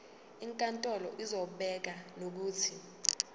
inkantolo izobeka nokuthi